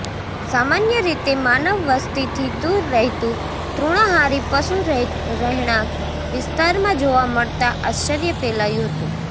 સામાન્ય રીતે માનવ વસ્તીથી દૂર રહેતું તૃણાહારી પશુ રહેણાંક વિસ્તારમાં જોવા મળતા આશ્ચર્ય ફેલાયું હતું